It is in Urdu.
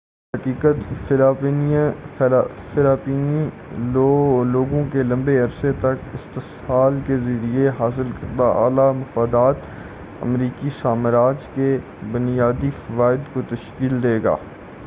درحقیقت فلپائنی لوگوں کے لمبے عرصے تک استحصال کے ذریعہ حاصل کردہ اعلی مفادات امریکی سامراج کے بنیادی فوائد کو تشکیل دے گا